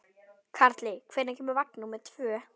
Karli, hvenær kemur vagn númer tvö?